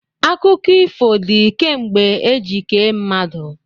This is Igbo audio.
Akụkọ ifo dị kemgbe eji kee mmadụ.